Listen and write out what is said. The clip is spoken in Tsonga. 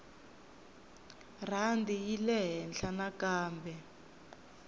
rhandi yi yile ehenhla nakambe